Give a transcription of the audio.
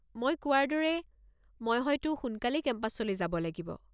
মই কোৱাৰ দৰে মই হয়তো সোনকালেই কেম্পাছলৈ যাব লাগিব।